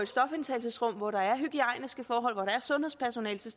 stofindtagelsesrum hvor der er hygiejniske forhold og hvor er sundhedspersonale til